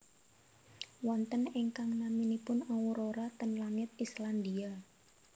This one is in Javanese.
Wonten ingkang naminipun aurora ten langit Islandia